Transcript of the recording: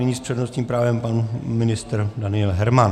Nyní s přednostním právem pan ministr Daniel Herman.